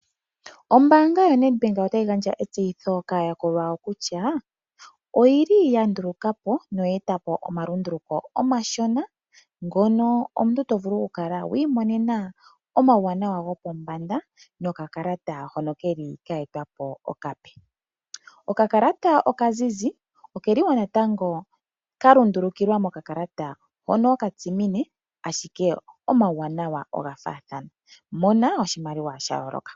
Ombaanga yoNedbank otayi gandja etseyitho kaayakulwa yawo kutya oya nduluka po noya eta po omalunduluko omashona ngono omuntu to vulu okukala wi imonena omauwanawa gopombanda nokakalata hono ke li ka etwa po okape. Okakalata okazizi oka lundululilwa mokakalata hono okatsimine, ashike omauwanawa oga faathana. Mona oshimaliwa sha yooloka!